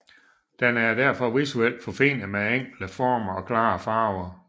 Den er derfor visuelt forfinet med enkle former og klare farver